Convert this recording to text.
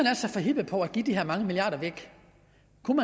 er så forhippet på at give de her mange milliarder væk